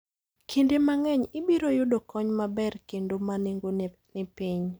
Kinde mang'eny, ibiro yudo kony maber kendo ma nengone ni piny.